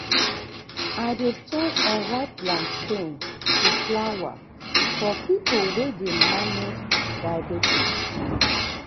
i dey turn unripe plantain to flour for people wey dey manage diabetes.